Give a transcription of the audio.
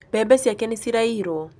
Mbebe ciake nĩ ciraiirwo